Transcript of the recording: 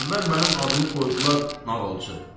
Əvvəl mənim adımı qoydular nağılçı.